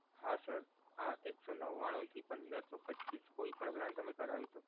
હા sir આ એક સો નવ્વાણું થી પંદર સો પચ્ચીસ નો કોઈ પણ plan તમે કરાવી શકો.